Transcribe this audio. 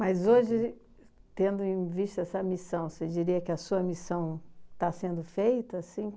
Mas, hoje, tendo em vista essa missão, você diria que a sua missão está sendo feita assim?